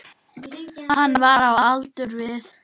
Hann var á aldur við